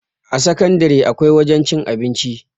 a sakandare akwai wajen cin abinci